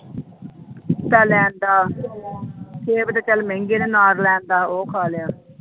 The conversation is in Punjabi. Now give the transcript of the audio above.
ਲੈ ਆਉਂਦਾ ਸੇਬ ਤਾਂ ਚੱਲ ਮਹਿੰਗੇ ਨੇ ਅਨਾਰ ਲੈ ਆਉਂਦਾ ਉਹ ਖਾ ਲਿਆ।